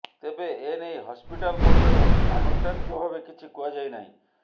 ତେବେ ଏ ନେଇ ହସ୍ପିଟାଲ ପକ୍ଷରୁ ଆନୁଷ୍ଠାନିକ ଭାବେ କିଛି କୁହାଯାଇ ନାହିଁ